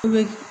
I bɛ